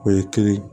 O ye kelen ye